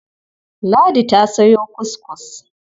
Ladi ta sayo kuskus.